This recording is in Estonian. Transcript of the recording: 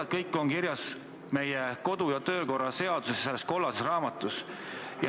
Kõik need asjad on kirjas meie kodu- ja töökorra seaduses, selles kollases raamatus.